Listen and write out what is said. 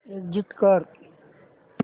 exit कर